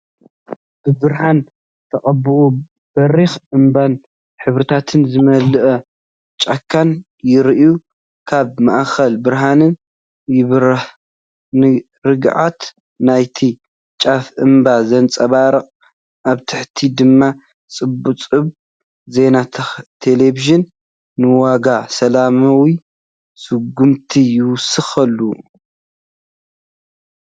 ብብርሃን ዝተቐብአ በሪኽ እምባን ሕብርታት ዝመልአ ጫካን ይረአ። ኣብ ማእከል ብርሃን ይበርህ፣ ንርግኣት ናይቲ ጫፍ እምባ ዘንጸባርቕ፣ ኣብ ታሕቲ ድማ ጸብጻብ ዜና ተለቪዥን ንዋጋ ሰላማዊ ስጉምቲ ይውስኸሉ።